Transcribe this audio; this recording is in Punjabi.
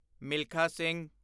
ਮਿਲਖਾ ਸਿੰਘ